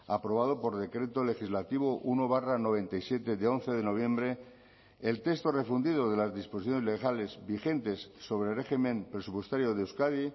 aprobado por decreto legislativo uno barra noventa y siete de once de noviembre el texto refundido de las disposiciones legales vigentes sobre régimen presupuestario de euskadi